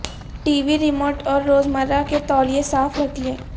T V remote اور روزمرہ کے تولیے صاف رکھیں